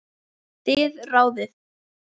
Þið ráðið.